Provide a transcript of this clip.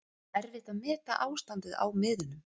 Erfitt að meta ástandið á miðunum